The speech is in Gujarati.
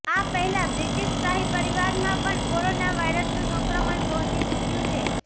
આ પહેલા બ્રિટિશ શાહી પરિવારમાં પણ કોરોના વાયરસનું સંક્રમણ પહોંચી ચુક્યું છે